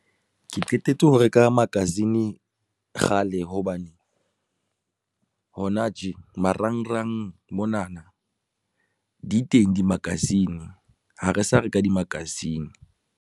Ke qetetse ho reka magazine kgale hobane hona tje marangrang monana di teng di-magazine ha re sa reka di-magazine.